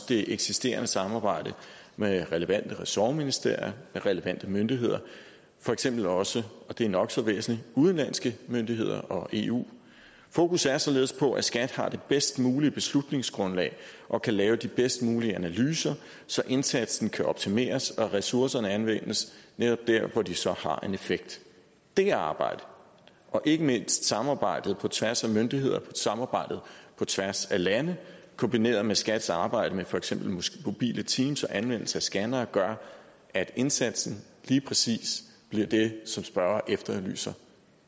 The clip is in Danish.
det eksisterende samarbejde med relevante ressortministerier med relevante myndigheder for eksempel også og det er nok så væsentligt udenlandske myndigheder og eu fokus er således på at skat har det bedst mulige beslutningsgrundlag og kan lave de bedst mulige analyser så indsatsen kan optimeres og ressourcerne anvendes netop der hvor de så har en effekt det arbejde og ikke mindst samarbejdet på tværs af myndigheder samarbejdet på tværs af lande kombineret med skats arbejde med for eksempel mobile teams og anvendelse af scannere gør at indsatsen lige præcis bliver det som spørgeren efterlyser